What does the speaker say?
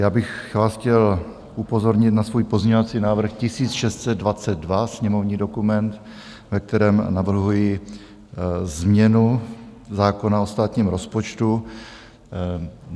Já bych vás chtěl upozornit na svůj pozměňovací návrh 1622, sněmovní dokument, ve kterém navrhuji změnu zákona o státním rozpočtu.